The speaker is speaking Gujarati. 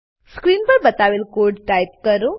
સ્ક્રીન પર બતાવેલ કોડ ટાઈપ કરો